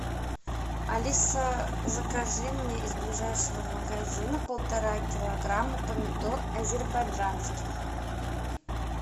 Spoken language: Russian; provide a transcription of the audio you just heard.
алиса закажи мне из ближайшего магазина полтора килограмма помидор азербайджанских